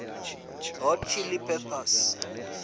hot chili peppers